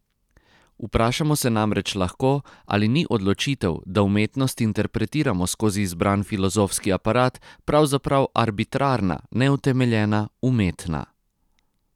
Vprašamo se namreč lahko, ali ni odločitev, da umetnost interpretiramo skozi izbran filozofski aparat, pravzaprav arbitrarna, neutemeljena, umetna.